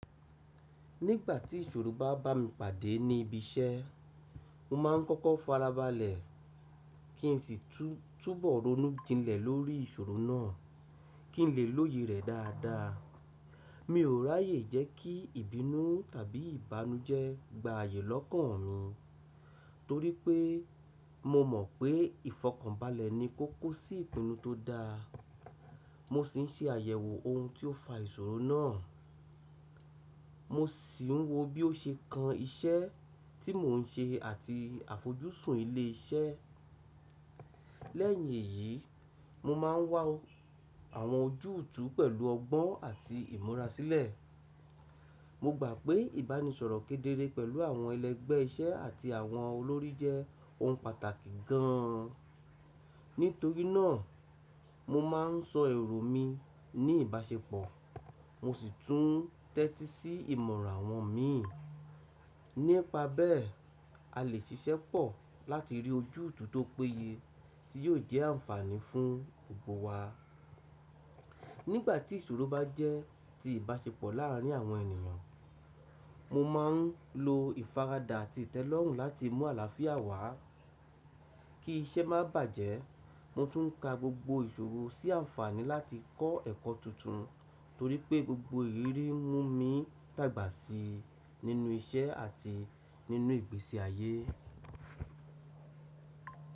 Nígbà tí ìṣòro bá bá mi pàdé ní ibi iṣẹ́, mo máa ń kọ́kọ́ farabalẹ̀ kí n sì túbọ̀ ronú jinlẹ̀ lórí ìṣòro náà kí n lè lóye rẹ̀ dáadáa. Mi o raye je ki ibinu tabi ibanuje gba aye lokan mi, to ri pe, mo mo pe, ifokanbale ni koko si ipinu to da. Mo sì ń ṣe àyẹ̀wò ohun tí ó fa ìṣòro náà. Mo sì ń wo bí ó ṣe kan iṣẹ́ tí mò ń ṣe àti àfojúsùn ilé iṣẹ́. Lẹ́yìn èyí, mo máa ń wá àwọn ojútùú pẹ̀lú ọgbọ́n àti ìmúra sílẹ̀. Mo gbà pé ìbánisọ̀rọ̀ kedere pẹ̀lú àwọn ẹlẹgbẹ́ iṣẹ́ àti àwọn olórí jẹ́ ohun pàtàkì gan an. Nítorí náà, mo máa ń sọ èrò mi ní ìbáṣepọ̀, mo sì tún tẹ́tí sí ìmọ̀ràn àwọn mi. Nípa bẹ́ẹ̀, a lè ṣiṣẹ́ pọ̀ láti rí ojútùú tó péye tí yóò jẹ́ ànfààní fún gbogbo wa. Nígbà tí ìṣòro bá jẹ́ ti ìbáṣepọ̀ láàárín àwọn ènìyàn, mo máa ń lo ìfaradà àti ìtẹ́lọ́rùn láti mú àlàáfíà wá. Kí iṣẹ́ má bàjẹ́, mo tún ka gbogbo ìṣòro sí ànfààní láti kọ́ ẹ̀kọ́ tuntun torí pé gbogbo ìrírí mú mi dàgbà sí i nínú iṣẹ́ àti nínú ìgbésí ayé.